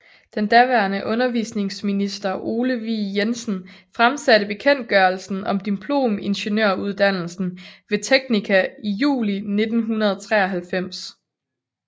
Den daværende undervisningsminister Ole Vig Jensen fremsatte bekendtgørelsen om diplomingeniøruddannelsen ved teknika i juli 1993